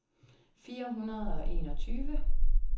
fire hundrede og enogtyve